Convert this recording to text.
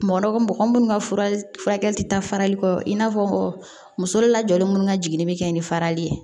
Mɔgɔ dɔ mɔgɔ munnu ka fura kɛli ti taa farali kɔ i n'a fɔ muso dɔ la jɔlen minnu ka jigini bɛ kɛ ni farali ye